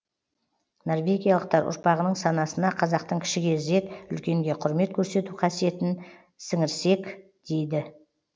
норвегиялықтар ұрпағының санасына қазақтың кішіге ізет үлкенге құрмет көрсету қасиетін сіңірсек дейді